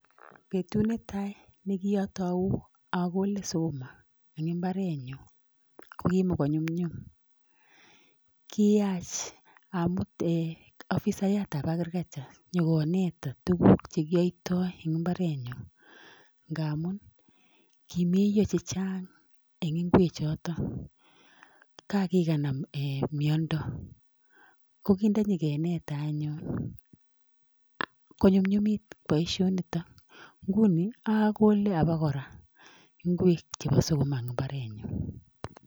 Betut netai ne kiotou agole sukuma en mbarenyun, kokiimogonyumnyum. Kiyach amut afisayat ab agriculture nyo konetan tuguk che kiyoiton en mbarenyun, ngamun kimeiyo chechang en ingwechoto, ngap kiganam miondo. Ko kit ndo nyekenetan anyun konyumnyumit boisionitonguni agole abakora ngwek chebo sukuma en mbarenyun.